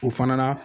O fana na